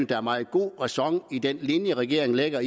der er meget god ræson i den linje regeringen lægger